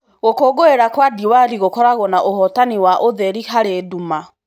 Gũkũngũĩra gwa diwali gũkoragwo kwa ũhotani wa ũtheri harĩ nduma.